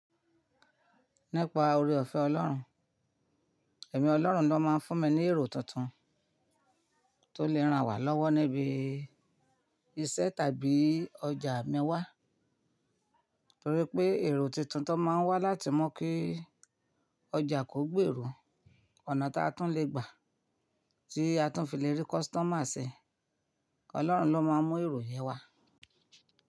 Nípa oore ọ̀fẹ́ Ọlọ́run. Ẹ̀mí Ọlọ́run ló máa ń fún mi ní èrò tuntun tó lè ràn wá lọ́wọ́ níbi iṣẹ́ tàbí ọjà mi wá. Torí pé èrò tuntun tó máa ń wá láti mú kí ọjà kò gbé èrò, ọ̀nà táa tún le gbà tí a tún fi le rí customer ṣe, Ọlọ́run ló máa ń mú èrò yẹn wá.